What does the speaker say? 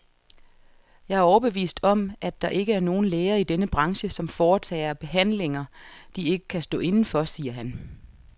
Jeg er overbevist om, at der ikke er nogen læger i denne branche, som foretager behandlinger, de ikke kan stå inde for, siger han.